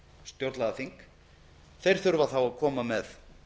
stjórnlagaþing þurfa þá að koma með